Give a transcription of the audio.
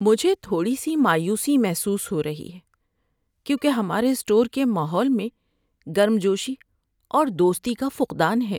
مجھے تھوڑی سی مایوسی محسوس ہو رہی ہے کیونکہ ہمارے اسٹور کے ماحول میں گرم جوشی اور دوستی کا فقدان ہے۔